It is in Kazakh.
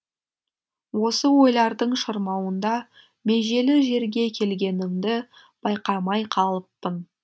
осы ойлардың шырмауында межелі жерге келгенімді байқамай қалыппын